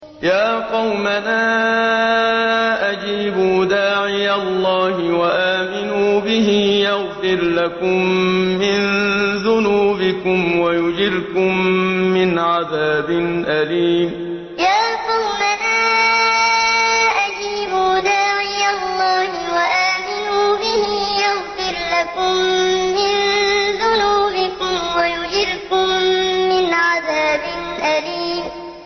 يَا قَوْمَنَا أَجِيبُوا دَاعِيَ اللَّهِ وَآمِنُوا بِهِ يَغْفِرْ لَكُم مِّن ذُنُوبِكُمْ وَيُجِرْكُم مِّنْ عَذَابٍ أَلِيمٍ يَا قَوْمَنَا أَجِيبُوا دَاعِيَ اللَّهِ وَآمِنُوا بِهِ يَغْفِرْ لَكُم مِّن ذُنُوبِكُمْ وَيُجِرْكُم مِّنْ عَذَابٍ أَلِيمٍ